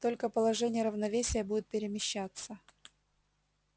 только положение равновесия будет перемещаться